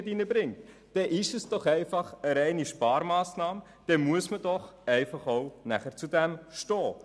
Damit handelt es sich um eine reine Sparmassnahme, und dazu muss man einfach stehen.